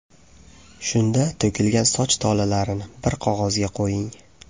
Shunda to‘kilgan soch tolalarini bir qog‘ozga qo‘ying.